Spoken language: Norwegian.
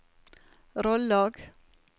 Rollag